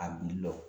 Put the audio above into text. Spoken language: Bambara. A wuli lɔgɔ